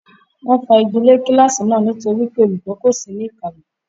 Wọ́n fa igi lé kíláàsì náà nítorí pé olùkọ́ kò sí ní ìkàlẹ̀.